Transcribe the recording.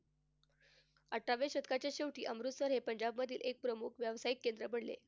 अठराव्या शतकाच्या शेवटी अमृतसर हे पंजाबमधील एक प्रमुख व्यावसायिक केंद्र बनले.